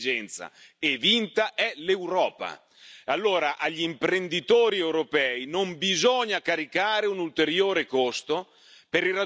Allora agli imprenditori europei non bisogna caricare un ulteriore costo per il raggiungimento di un obiettivo che già stanno garantendo.